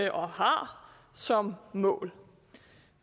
og har som mål